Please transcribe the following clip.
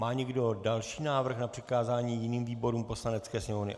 Má někdo další návrh na přikázání jiným výborům Poslanecké sněmovny?